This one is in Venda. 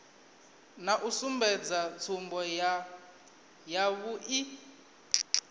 na u sumbedza tsumbo yavhui